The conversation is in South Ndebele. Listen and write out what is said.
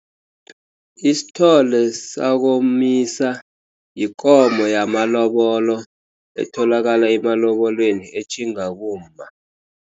Isithole sakomisa, yikomo yamalobolo etholakala emalobolweni, etjhinga kumma.